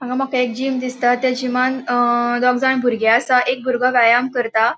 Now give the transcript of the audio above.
हांगा मका एक जिम दिसता थ्य जिमान अ दोग जाण बुर्गे असा एक बुर्गो व्यायाम करता.